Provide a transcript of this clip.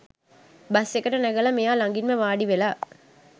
bus එකට නැගලා මෙයා ළඟින්ම වාඩි වෙලා